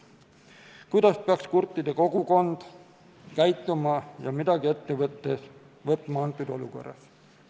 Ta küsib, kuidas peaks kurtide kogukond käituma ja mida ette võtma antud olukorras.